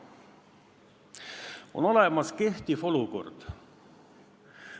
On olemas kehtiv olukord.